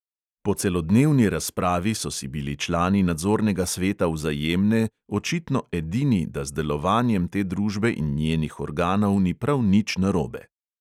Po celodnevni razpravi so si bili člani nadzornega sveta vzajemne očitno edini, da z delovanjem te družbe in njenih organov ni prav nič narobe.